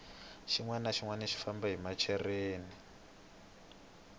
xinwani na xinwani xi famba hi machereni